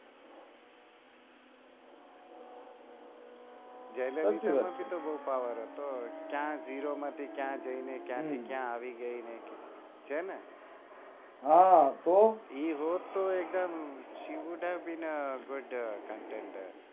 બોવ પાવર ક્યાં ઝીરો માંથી ક્યાં જય ને ક્યાંથી ક્યાં જય ને છેને હા તો એ હોટ તો એકદમ